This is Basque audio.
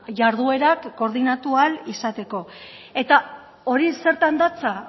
jarduerak koordinatu ahal izateko eta hori zertan datza